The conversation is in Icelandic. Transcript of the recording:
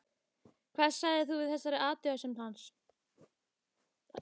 Hvað sagðir þú við þessari athugasemd hans?